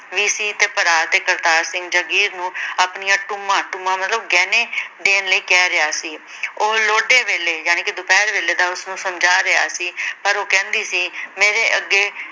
ਵੀ ਸੀ ਤੇ ਭਰਾ ਤੇ ਕਰਤਾਰ ਸਿੰਘ ਜਗੀਰ ਨੂੰ ਆਪਣੀਆਂ ਟੂਮਾਂ ਟੂਮਾਂ ਮਤਲਬ ਗਹਿਣੇ ਦੇਣ ਲਈ ਕਹਿ ਰਿਹਾ ਸੀ ਉਹ ਲੋਟੇ ਵੇਹਲੇ ਯਾਨੀ ਕਿ ਦੁਪਹਿਰ ਵੇਲੇ ਦਾ ਉਸਨੂੰ ਸਮਝਾ ਰਿਹਾ ਸੀ ਪਰ ਉਹ ਕਹਿੰਦੀ ਸੀ ਮੇਰੇ ਅੱਗੇ